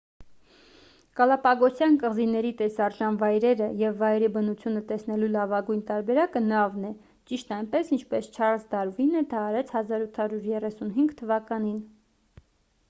գալապագոսյան կղզիների տեսարժան վայրերը և վայրի բնությունը տեսնելու լավագույն տարբերակը նավն է ճիշտ այնպես ինչպես չարլզ դարվինը դա արեց 1835 թվականին